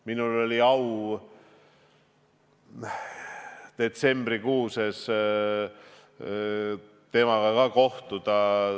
Minul oli au detsembrikuus temaga kohtuda.